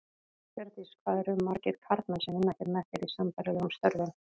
Hjördís: Hvað eru margir karlmenn sem vinna hér með þér, í sambærilegum störfum?